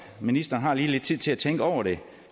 ministeren har lige lidt tid til at tænke over det